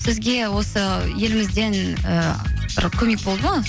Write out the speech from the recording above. сізге осы елімізден ііі бір көмек болды ма